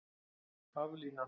Haflína